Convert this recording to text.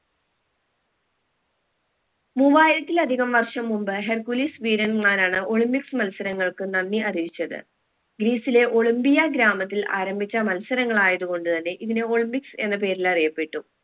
മൂവായിരത്തിലധികം വർഷം മുമ്പ് ഹെർഗുലീസ്‌ വീരന്മാരാണ് olympics മത്സരങ്ങൾക്ക് നന്ദി അറിയിച്ചത് ഗ്രീസിലെ ഒളിമ്പിയ ഗ്രാമത്തിൽ ആരംഭിച്ച മത്സരങ്ങളായത് കൊണ്ട് തന്നെ ഇതിനെ olympics എന്ന പേരിൽ അറിയപ്പെട്ടു